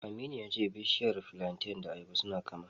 Aminu ya ce bishiyar filanten da ta ayaba suna kama.